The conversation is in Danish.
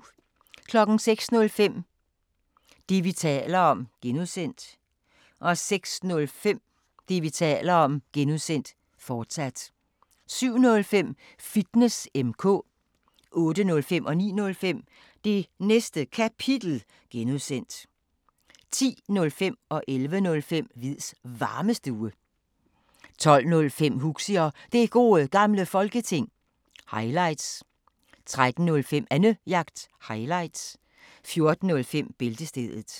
05:05: Det, vi taler om (G) 06:05: Det, vi taler om (G), fortsat 07:05: Fitness M/K 08:05: Det Næste Kapitel (G) 09:05: Det Næste Kapitel (G) 10:05: Hviids Varmestue 11:05: Hviids Varmestue 12:05: Huxi og Det Gode Gamle Folketing – highlights 13:05: Annejagt – highlights 14:05: Bæltestedet